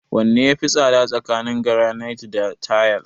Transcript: Wanne ya fi tsada tsakanin garanait da tayal?